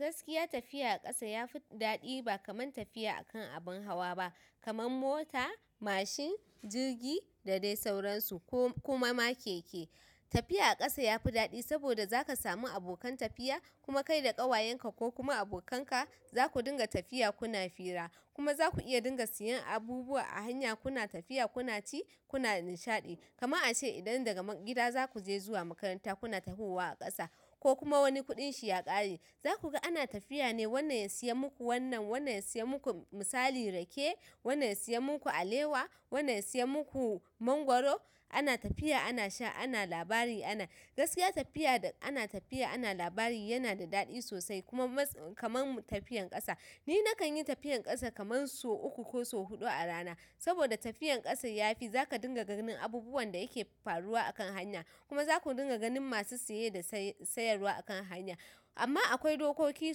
Gaskiya tafiya a ƙasa yafi daɗi ba kaman tafiya a kan abun hawa ba kaman mota, mashin, jirgi da dai sauransu ko kuma ma keke. Tafiya a ƙasa yafi daɗi saboda zaka samu abokan tafiya kuma kai da ƙawayenka ko kuma abokanka zaku dinga tafiya kuna fira kuma zaku iya dinga siyan abubuwa a hanya kuna tafiya kuna ci kuna nishaɗi. Kama a ce idan daga gida zaku je zuwa makaranta kuna tahowa a ƙasa ko kuma wani kuɗin shi ya ƙare, za ku ga ana tafiya ne wannan ya siya muku wannan, wannan ya siya muku misali rake, wannan ya siya muku alewa, wannan ya siya muku mangwaro ana tafiya ana sha ana labari ana. Gaskiya tafiya da ana tafiya ana labari yana da daɗi sosai kuma mats-- kaman tafiyan ƙasa. Ni nakan yi tafiyan ƙasa kaman so uku ko so huɗu a rana saboda tafiyan ƙasa yafi zaka dinga ganin abubuwan da yake faruwa a kan hanya kuma zaku dinga ganin masu saye da sayarwa a kan hanya. Amma akwai dokoki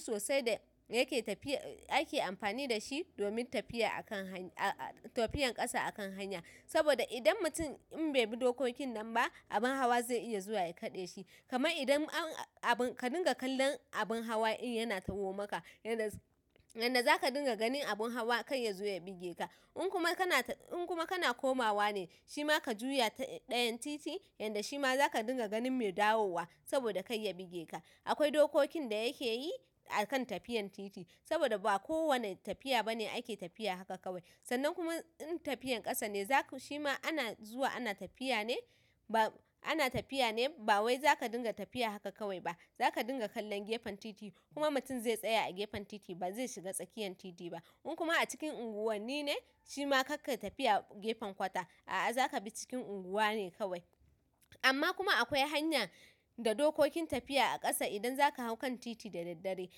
sosai da yake tafiya-- ake amfani da shi domin tafiya a kan hany-- tafiyan ƙasa a kan hanya saboda idan mutum in bai bi dokokin nan ba abun hawa zai iya zuwa ya kaɗe shi. Kama idan an-- ka dinga kallon abun hawa in yana tahowa maka yadda, yadda zaka dinga ganin abun hawa kai ya zo ya buge ka. In kuma kana, in kuma kana komawa ne shi ma ka juya ta ɗayan titi yadda shi ma zaka dinga ganin mai dawowa saboda kai ya buge ka. Akwai dokokin da yake yi a kan tafiyan titi saboda ba ko wane tafiya ba ne ake tafiya haka kawai. Sannan kuma in tafiyan ƙasa ne zaku shi ma ana zuwa ana tafiya ne ba, ana tafiya ne ba wai zaka dinga tafiya haka kawai ba. Zaka dinga kallon gefen titi kuma mutum zai tsaya a gefen titi ba zai shiga tsakiyan titi ba. In kuma acikin unguwanni ne shima karkayi tafiya a gefen kwata a'a zakabi cikin unguwa ne. Amma kuma akwai hanya da dokokin tafiya a ƙasa idan zaka hau kan titi da daddare.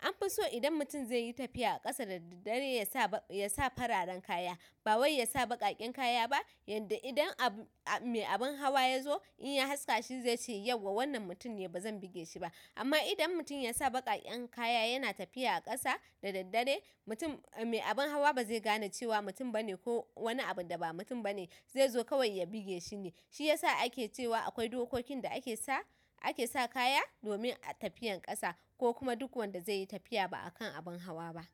Anfi so in mutum zaiyi tafiya a kasa da dare yasa fararen kaya bawai yasa baƙaƙen kaya ba yanda idan mai abun haya yazo zaice yauwa wannan mutum ne bazan bigeshi ba amma idan mutum ya sa baƙaƙen kaya yana tafiya a ƙasa da daddare mutum-- mai abun hawa ba zai gane cewa mutum ba ne ko wani abun da ba mutum ba ne zai zo kawai ya buge shi ne. Shi ya sa ake cewa akwai dokokin da ake sa, ake sa kaya domin tafiyan ƙasa ko kuma duk wanda zai yi tafiya ba a kan abun hawa ba.